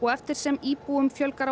eftir sem íbúum fjölgar